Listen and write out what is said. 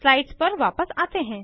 slides पर वापस आते हैं